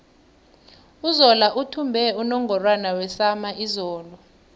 uzola uthumbe unungorwana wesama izolo